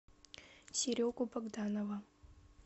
серегу богданова